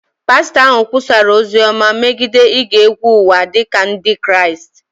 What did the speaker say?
pastọ ahụ kwusara ozi ọma megide ige egwu ụwa dị ka Ndị Kraịst